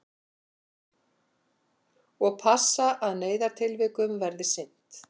Og passa að neyðartilvikum verði sinnt